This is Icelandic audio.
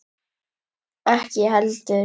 Ekki ég heldur!